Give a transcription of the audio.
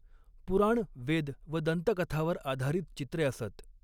पुराण वेद व दंतकथावर आधारित चित्रे असत.